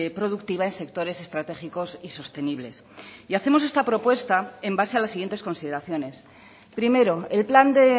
productiva en sectores estratégicos y sostenibles y hacemos esta propuesta en base a las siguientes consideraciones primero el plan de